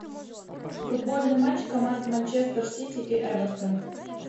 футбольный матч команд манчестер сити и эвертон